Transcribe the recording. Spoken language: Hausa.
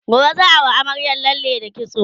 gobe zaa Yi wa amaryar lalle da kitso